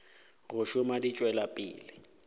go šoma di tšwela pele